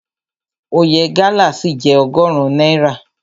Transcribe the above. Oye gálà ṣì jẹ́ ọgọrun náírà.